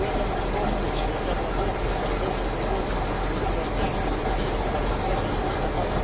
Noi abbiamo di fronte, e ci riempiamo la bocca e siamo molto orgogliosi, di finanziare, di investire sulla cosiddetta industria